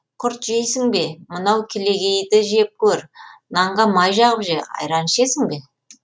құрт жейсің бе мынау кілегейді жеп көр нанға май жағып же айран ішесің бе